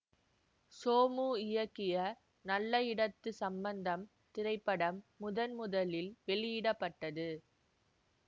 சோமு இயக்கிய நல்ல இடத்து சம்பந்தம் திரைப்படம் முதன் முதலில் வெளியிட பட்டது